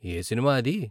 ఏ cinema అది?